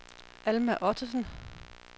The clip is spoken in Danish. Alma Ottesen